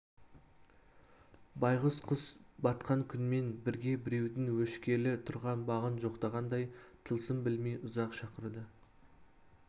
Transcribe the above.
байғұс құс батқан күнмен бірге біреудің өшкелі тұрған бағын жоқтағандай тылсым білмей ұзақ шақырды